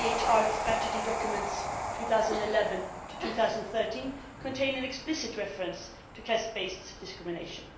EIDHR strategy documents for 2011 to 2013 contain an explicit reference to caste based discrimination.